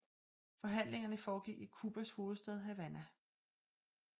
Forhandlingerne foregik i Cubas hovedstad Havana